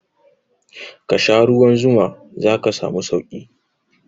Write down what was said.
Kasha ruwan zuma zaka samu sauki